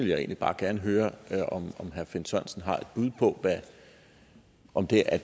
jeg egentlig bare gerne høre om herre finn sørensen har et bud på om det er